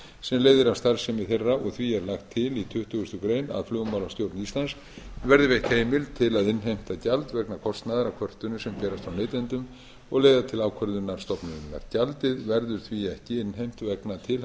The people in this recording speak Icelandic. sem leiðir af starfsemi þeirra og því er lagt til í tuttugustu greinar að flugmálastjórn íslands verði veitt heimild til að innheimta gjald vegna kostnaðar af kvörtunum sem berast frá neytendum og leiða til ákvörðunar stofnunarinnar gjaldið verður því ekki